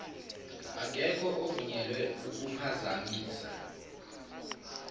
akekho ovunyelwe ukuphazamisa